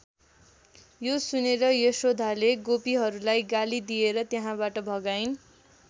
यो सुनेर यशोदाले गोपीहरूलाई गाली दिएर त्यहाँबाट भगाइन्।